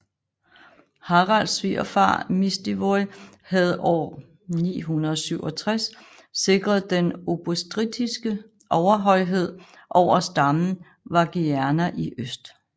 Haralds svigerfar Mistivoj havde år 967 sikret den obotrittiske overhøjhed over stammen Wagierna i øst